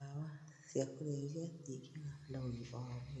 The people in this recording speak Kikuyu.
Ndawa cia kũrebia tingega na ũgima wa mwĩrĩ